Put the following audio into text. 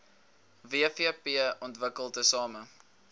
wvp ontwikkel tesame